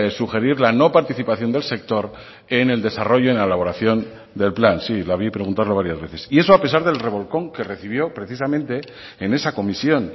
sugerir la no participación del sector en el desarrollo en la elaboración del plan sí la vi preguntarlo varias veces y eso a pesar del revolcón que recibió precisamente en esa comisión